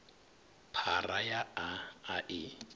phara ya a a i